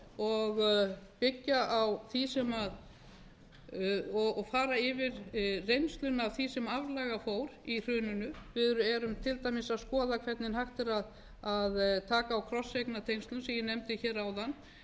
og byggja á því og fara yfir reynsluna af því sem aflaga fór í hruninu við erum til dæmis að skoða hvernig hægt er að taka á krosseignatengslum sem ég nefndi áðan hvernig er hægt að